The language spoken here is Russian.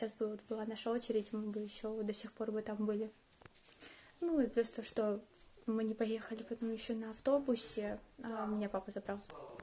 сейчас бы вот была наша очередь мы бы ещё до сих пор бы там были ну и плюс то что мы не поехали потом ещё на автобусе меня папа забрал